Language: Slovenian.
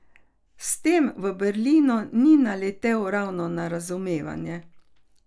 S tem v Berlinu ni naletel ravno na razumevanje.